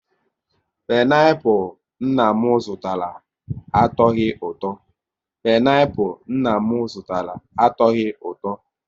Pineapul nna m zụtara, atoghi ụtọ